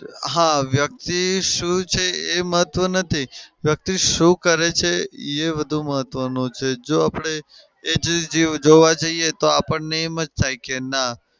હા વ્યકિત શું છે એ મહત્વ નથી. વ્યક્તિ શું કરે છે એ બધું મહત્વનું છે. જો આપડે એ જે જોવા જઈએ તો આપણને એમ જ થાય કે નાં